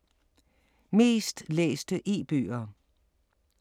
Mest læste e-bøger